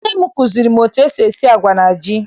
Nne m kụziere m etu esi agwa na ji.